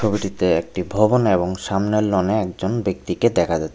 ছবিটিতে একটি ভবন এবং সামনের লন এ একজন ব্যক্তিকে দেখা যা --